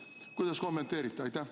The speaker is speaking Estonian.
Kuidas kommenteerite?